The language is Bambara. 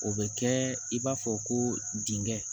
O bɛ kɛ i b'a fɔ ko dingɛ